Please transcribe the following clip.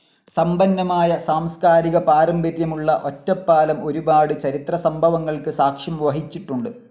സമ്പന്നമായ സാംസ്കാരിക പാരമ്പര്യമുള്ള ഒറ്റപ്പാലം ഒരുപാട് ചരിത്ര സംഭവങ്ങൾക്ക് സാക്ഷ്യം വഹിച്ചിട്ടുണ്ട്.